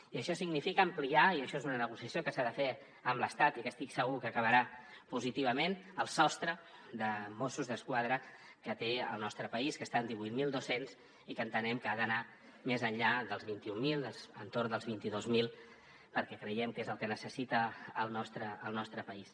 i això significa ampliar i això és una negociació que s’ha de fer amb l’estat i que estic segur que acabarà positivament el sostre de mossos d’esquadra que té al nostre país que està divuit mil dos cents i que entenem que ha d’anar més enllà dels vint mil entorn dels vint dos mil perquè creiem que és el que necessita el nostre país